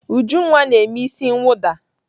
Ujunwa na-eme isi mwụda.